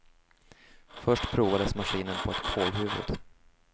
Först provades maskinen på ett kålhuvud.